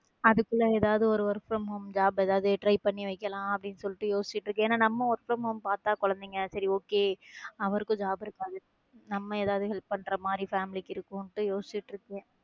அதுக்குள்ள ஏதாவது ஒரு work from home job ஏதாவது try பண்ணி வைக்கலாம் அப்படின்னு சொல்லிட்டு யோசிச்சிட்டு இருக்கேன் ஏன்னா நம்ம work from home பார்த்தா குழந்தைங்க சரி okay அவருக்கும் job இருக்காது நம்ம ஏதாவது help பண்ற மாதிரி family க்கு இருக்கும்னு யோசிச்சிட்டு இருக்கேன்.